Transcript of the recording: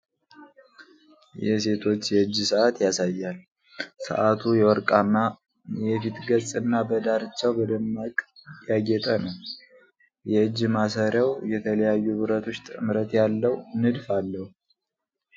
የሴቶች የእጅ ሰዓት ያሳያል። ሰዓቱ የወርቅማ የፊት ገጽና በዳርቻው በደማቅ ያጌጠ ነው። የእጅ ማሰሪያው የተለያዩ ብረቶች ጥምረት ያለው ንድፍ አለው።